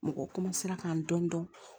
Mɔgɔ k'an dɔn dɔndɔn